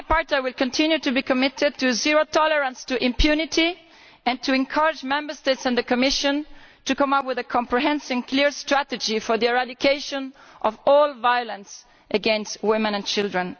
I will continue to be committed to zero tolerance for impunity and to encourage Member States and the Commission to come up with a comprehensive and clear strategy for the eradication of all violence against women and children.